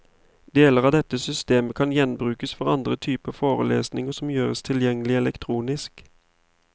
Deler av dette systemet kan gjenbrukes for andre typer forelesninger som gjøres tilgjengelig elektronisk.